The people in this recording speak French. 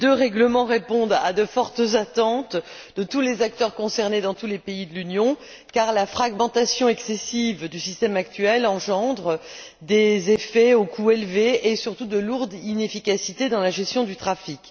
Ces deux règlements répondent à de fortes attentes de tous les acteurs concernés dans tous les pays de l'Union car la fragmentation excessive du système actuel engendre des effets au coût élevé et surtout des lourdes inefficacités dans la gestion du trafic.